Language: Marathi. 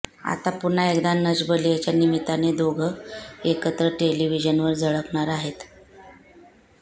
आता पुन्हा एकदा नच बलियेच्या निमित्ताने दोघं एकत्र टेलिव्हिजनवर झळकणार आहेत